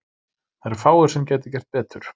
Það eru fáir sem gætu gert betur.